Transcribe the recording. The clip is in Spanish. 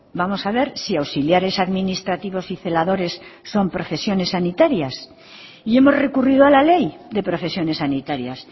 vamos a ver si auxiliares administrativos y celadores son profesiones sanitarias y hemos recurrido a la ley de profesiones sanitarias